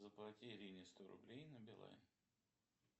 заплати ирине сто рублей на билайн